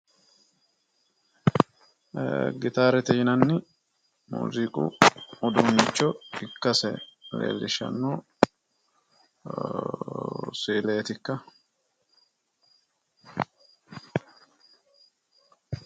Gitaarete yinanni muuziiqu uuduunnicho ikkase leellishshanno si"ileetikka?